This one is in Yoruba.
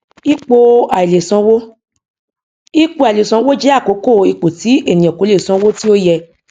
ipò aìlèsanwó ipò aìlèsanwó jẹ àkókò ipò tí ènìyàn kò lè san owó tí ó yẹ